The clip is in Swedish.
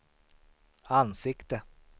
ansikte